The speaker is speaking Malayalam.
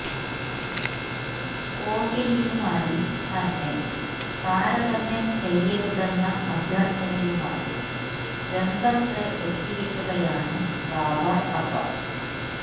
കോഹ്ലിയുമായി തന്നെ താരതമ്യം ചെയ്യരുതെന്ന അഭ്യര്ത്ഥനയുമായി രംഗത്ത് എത്തിയിരിക്കുകയാണ് ബാബര് അസം